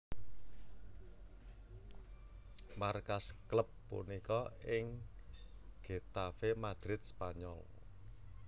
Markas klub punika ing Getafe Madrid Spanyol